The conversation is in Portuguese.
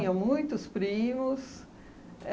muitos primos.